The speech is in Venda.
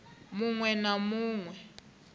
mu ṅwe na mu ṅwe